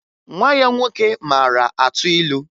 Nwa ya nwoke mara atụ ilu